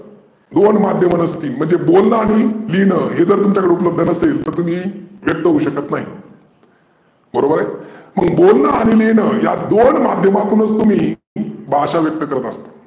दोन माध्यमे नसतील म्हणजे बोलनं आणि लिहिने हे जर तुमच्याकड उपलब्ध नसतील तर तुम्ही व्यक्त होऊ शकत नाही. बरोबर आहे? मग बोलन आणि लिहिनं दोन माध्यमातूनच तुम्ही भाषा व्यक्त करत असतात.